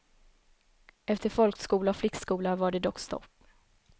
Efter folkskola och flickskola var det dock stopp.